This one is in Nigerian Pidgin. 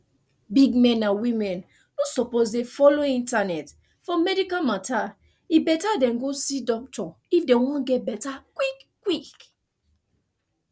big men and women no suppose de follow internet for medical matter e better dem go see doctor if dem wan get better quick quick